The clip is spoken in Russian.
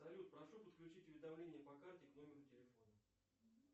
салют прошу подключить уведомление по карте к номеру телефону